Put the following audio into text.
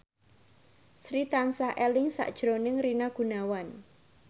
Sri tansah eling sakjroning Rina Gunawan